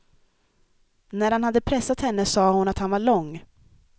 När han hade pressat henne sa hon att han var lång.